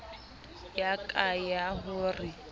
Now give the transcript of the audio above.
ya ka ya ho re